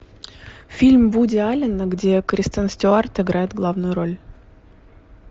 фильм вуди аллена где кристен стюарт играет главную роль